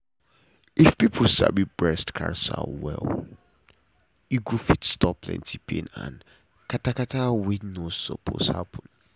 if people sabi breast cancer well e go fit stop plenty pain and katakata wey no suppose happen.